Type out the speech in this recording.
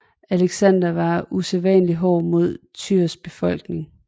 Aleksander var usædvanlig hård mod Tyrs befolkning